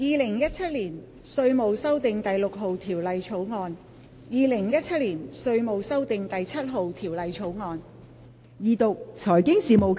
《2017年稅務條例草案》《2017年稅務條例草案》。